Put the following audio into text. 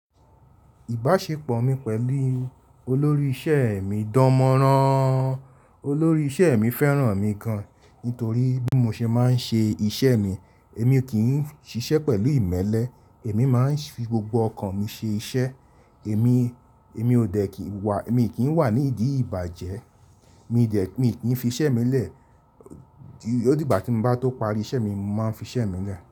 Ìbáṣepọ̀ mi pẹ̀lú olórí iṣẹ́ mi dánmọ́rán. Olórí iṣẹ́ mi fẹ́ràn mi gan, nítorí bí mo ṣe máa ń ṣe iṣẹ́ mi. Èmi kì í ṣiṣẹ́ pẹ̀lú ìmẹ́lẹ́, èmi máa ń fi gbogbo ọkàn mi ṣe iṣẹ́. Èmi, èmi ò dẹ̀ kì í wà, èmi kì í wà ní ìdí ìbàjẹ́. Mi dẹ̀, mì kì í fi iṣẹ́ mi lẹ̀. Ó di ìgbà tí mo bá tó parí iṣẹ́ mi, ni mo máa n fi iṣẹ́ mi í lẹ̀